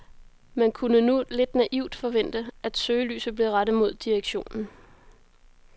Man kunne nu lidt naivt forvente, at søgelyset blev rettet mod direktionen.